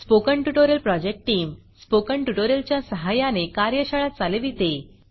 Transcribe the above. spoken tutorial project team spoken tutorial च्या सहाय्याने कार्यशाळा चालविते